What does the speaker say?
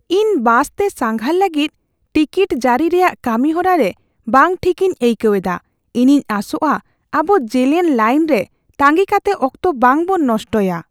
ᱤᱧ ᱵᱟᱥᱛᱮ ᱥᱟᱸᱜᱷᱟᱨ ᱞᱟᱹᱜᱤᱫ ᱴᱤᱠᱤᱴ ᱡᱟᱹᱨᱤ ᱨᱮᱭᱟᱜ ᱠᱟᱹᱢᱤᱦᱚᱨᱟ ᱨᱮ ᱵᱟᱝ ᱴᱷᱤᱠ ᱤᱧ ᱟᱹᱭᱠᱟᱹᱣ ᱮᱫᱟ; ᱤᱧᱤᱧ ᱟᱥᱚᱜᱼᱟ ᱟᱵᱚ ᱡᱮᱞᱮᱧ ᱞᱟᱹᱭᱤᱱ ᱨᱮ ᱛᱟᱸᱜᱤ ᱠᱟᱛᱮ ᱚᱠᱛᱚ ᱵᱟᱝ ᱵᱚᱱ ᱱᱚᱥᱴᱚᱭᱟ ᱾